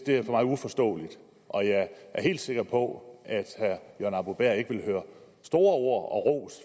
det er for mig uforståeligt og jeg er helt sikker på at herre jørgen arbo bæhr ikke vil høre store ord og ros